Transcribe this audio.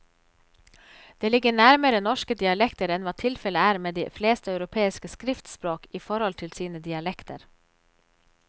Det ligger nærmere norske dialekter enn hva tilfellet er med de fleste europeiske skriftspråk i forhold til sine dialekter.